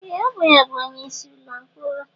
Ee! Ọ bụ ya bụ onyeisi ụlọ mkpọrọ.